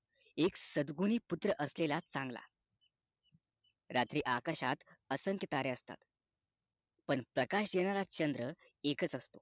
एक सद्गुणी पुत्र असलेला चांगला रात्री आकाशात असंख्य तारे असतात पण प्रकाश देणारा चंद्र एकच असतो